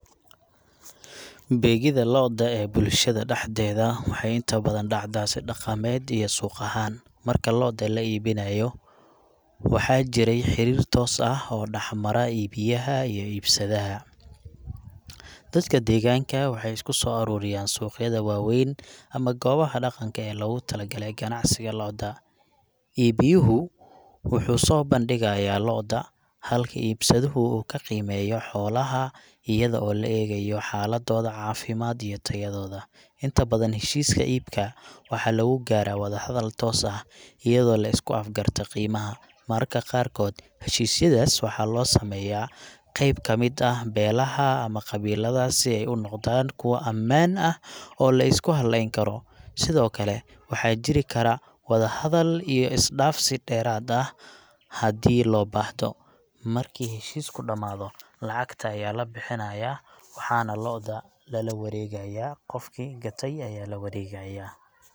Beegida lo'da ee bulshada dhexdeeda waxay inta badan dhacdaa si dhaqameed iyo suuq ahaan. Marka lo'da la iibinayo, waxaa jiray xiriir toos ah oo dhex mara iibiyaha iyo iibsadaha. Dadka deegaanka waxay isku soo ururiyaan suuqyada waaweyn ama goobaha dhaqanka ee loogu talagalay ganacsiga lo'da. Iibiyuhu wuxuu soo bandhigayaa lo'da, halka iibsaduhu uu ku qiimeeyo xoolaha iyadoo loo eegayo xaaladooda caafimaad iyo tayadooda. Inta badan, heshiiska iibka waxaa lagu gaaraa wadahadal toos ah, iyadoo la isku afgartaa qiimaha. Mararka qaarkood, heshiisyadaas waxaa loo sameeyaa qayb ka mid ah beelaha ama qabiilada si ay u noqdaan kuwo ammaan ah oo la isku halleyn karo. Sidoo kale, waxaa jiri kara wadahadal iyo is-dhaafsi dheeraad ah haddii loo baahdo. Markii heshiisku dhammaado, lacagta ayaa la bixinayaa waxaana lo'da lala waregayaa, qofki gate ayaa la waregayaa.